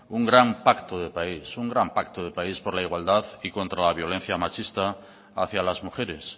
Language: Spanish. un gran pacto de país un gran pacto de país por la igualdad y contra la violencia machista hacia las mujeres